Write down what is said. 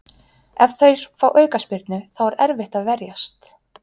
Ef þeir fá aukaspyrnu þá er erfitt að verjast.